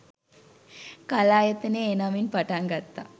කලායතනය ඒ නමින් පටන් ගත්තා